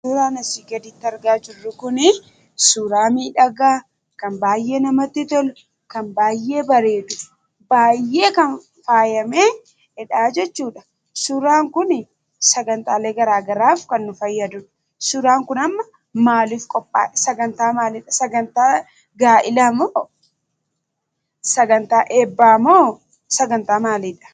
Suuraan asii gaditti argaa jirru kun suuraa miidhagaa kan namatti tolu kan baay'ee bareedu baay'ee kan faayamedha jechuudha. Suuraan kun sagantaalee garaagaraaf kan nu fayyadudha. Suuraan kun sagantaa maaliif qophaaye? Sagantaa gaa'elaa moo sagantaa eebbaa moo sagantaa maaliidha?